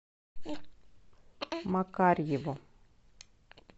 макарьеву